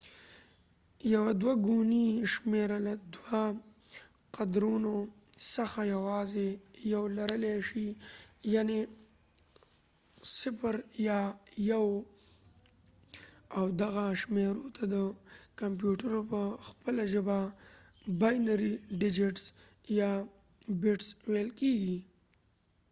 یوه دوه ګونې شمېره له دوو قدرونو څخه یواځې یو لرلې شي یعني 0 یا 1 او دغه شمېرو ته د کمپیوټرو په خپله ژبه باینري ډیجټس یا بټس ویل کیږي